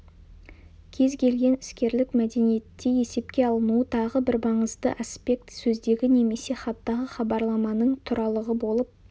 кез келген іскерлік мәдениетте есепке алынуы тағы бір маңызды аспект сөздегі немесе хаттағы хабарламаның туралығы болып